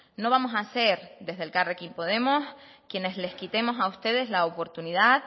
no vamos a ser desde elkarrekin podemos quienes las quitemos a ustedes la oportunidad